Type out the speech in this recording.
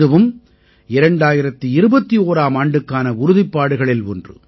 இதுவும் 2021ஆம் ஆண்டுக்கான உறுதிப்பாடுகளில் ஒன்று